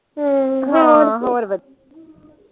ਹਮ ਹਾਂ ਹੋਰ ਵਧੀਆ